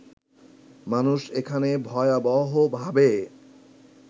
মানুষ এখানে ভয়াবহভাবে